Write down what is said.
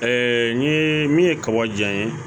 n ye min ye kaba diyan n ye